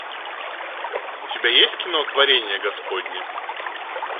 у тебя есть кино творение господне